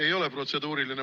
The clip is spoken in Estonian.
Ei ole protseduuriline.